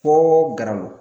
Foo garalo.